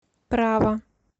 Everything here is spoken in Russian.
право